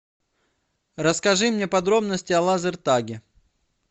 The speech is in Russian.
расскажи мне подробности о лазер таге